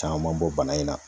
Caaman bɔ bana in na